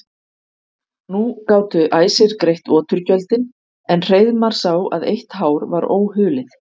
Nú gátu æsir greitt oturgjöldin en Hreiðmar sá að eitt hár var óhulið.